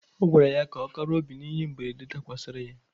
Ọ gwara ya ka ọ kara obi n'ihe mberede dakwasịrị ya.